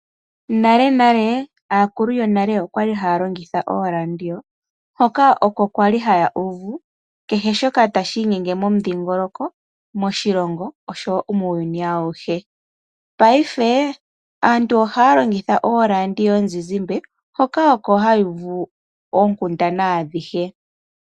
Nalenale aakulu yonale okwali haya longitha ooradio hoka oko kwali haya uvu kehe shoka tashi inyenge momudhingoloko, moshilongo, oshowo muuyuni awuhe. Paife aantu ohaya longitha ooradio yomuzizimba, hoka oko haya uvu oonkundana adhihe.